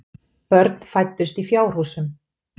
Börn fæddust í fjárhúsum.